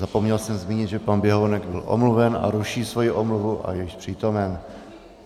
Zapomněl jsem zmínit, že pan Běhounek byl omluven a ruší svoji omluvu a je již přítomen.